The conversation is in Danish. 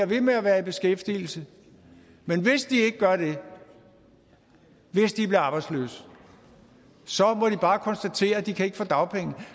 ved med at være i beskæftigelse men hvis de ikke gør det hvis de bliver arbejdsløse så må de bare konstatere at de ikke kan få dagpenge